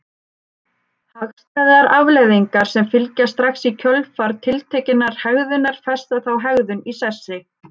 Hagstæðar afleiðingar sem fylgja strax í kjölfar tiltekinnar hegðunar festa þá hegðun í sessi.